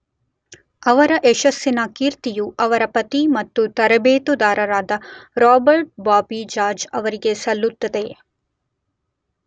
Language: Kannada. ಅವರ ಯಶಸ್ಸಿನ ಕೀರ್ತಿಯು ಅವರ ಪತಿ ಮತ್ತು ತರಬೇತುದಾರರಾದ ರಾಬರ್ಟ್ ಬಾಬಿ ಜಾರ್ಜ್ ಅವರಿಗೆ ಸಲ್ಲುತ್ತದೆ.